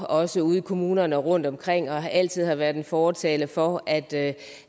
også ude i kommunerne og rundtomkring altså at man altid har været en fortaler for at